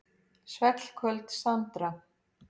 Svellköld Sandra.